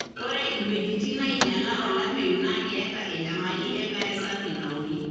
ore iweujitin nainyiala olameyu na keeta enyamali enkare safi naoki.